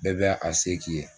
Bɛɛ bɛ a se k'i ye.